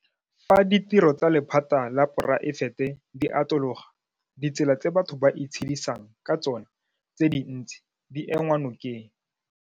Fa ditiro tsa lephata la poraefete di atologa, ditsela tse batho ba itshedisang ka tsona tse dintsi di enngwa nokeng.